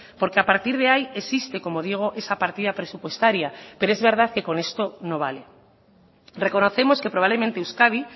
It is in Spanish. porque a partir de ahí existe como digo esa partida presupuestaria pero es verdad que con esto no vale reconocemos que probablemente euskadi